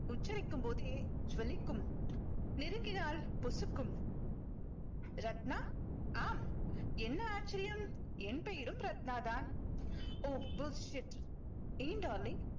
உச்சரிக்கும் போதே ஜொளிக்கும் நெருங்கினால் பொசுக்கும் ரத்னா ஆம் என்ன ஆச்சரியம் என் பெயரும் ரத்னா தான் oh bulshit ஏன் darling